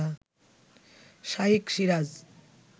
Shaikh Siraj